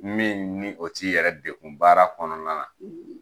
Min ni o t' i yɛrɛ degun baara kɔnɔna na;